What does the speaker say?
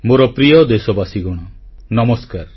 ମୋର ପ୍ରିୟ ଦେଶବାସୀଗଣ ନମସ୍କାର